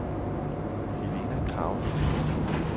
Helena Kragelund